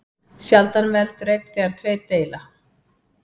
Sjaldan veldur einn þegar tveir deila.